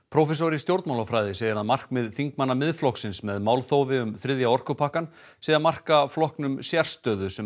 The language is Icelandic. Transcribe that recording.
prófessor í stjórnmálafræði segir að markmið þingmanna Miðflokksins með málþófi um þriðja orkupakkann sé að marka flokknum sérstöðu sem